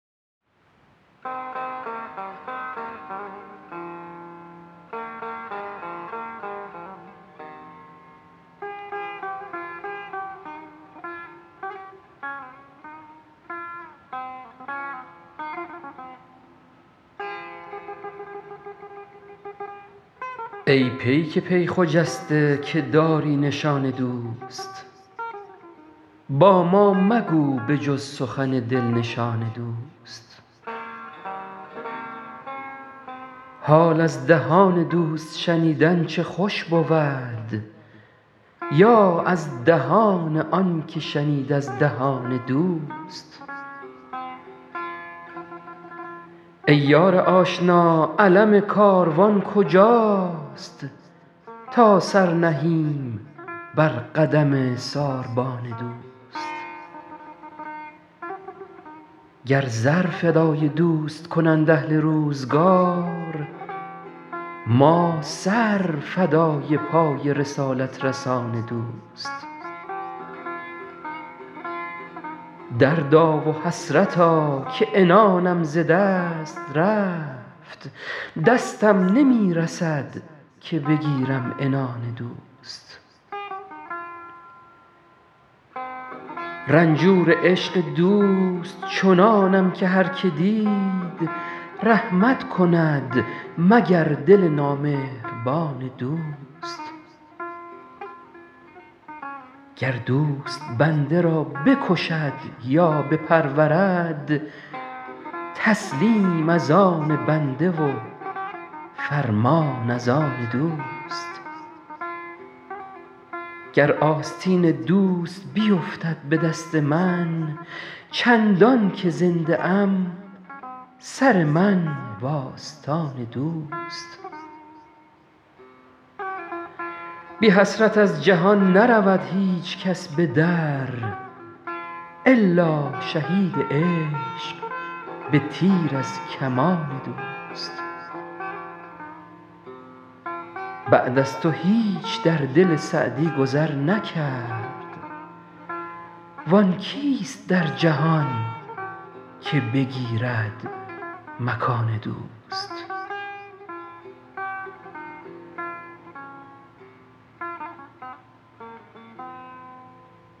ای پیک پی خجسته که داری نشان دوست با ما مگو به جز سخن دل نشان دوست حال از دهان دوست شنیدن چه خوش بود یا از دهان آن که شنید از دهان دوست ای یار آشنا علم کاروان کجاست تا سر نهیم بر قدم ساربان دوست گر زر فدای دوست کنند اهل روزگار ما سر فدای پای رسالت رسان دوست دردا و حسرتا که عنانم ز دست رفت دستم نمی رسد که بگیرم عنان دوست رنجور عشق دوست چنانم که هر که دید رحمت کند مگر دل نامهربان دوست گر دوست بنده را بکشد یا بپرورد تسلیم از آن بنده و فرمان از آن دوست گر آستین دوست بیفتد به دست من چندان که زنده ام سر من و آستان دوست بی حسرت از جهان نرود هیچ کس به در الا شهید عشق به تیر از کمان دوست بعد از تو هیچ در دل سعدی گذر نکرد وآن کیست در جهان که بگیرد مکان دوست